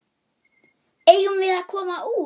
Eigum við að koma út?